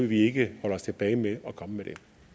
vi ikke holde os tilbage med at komme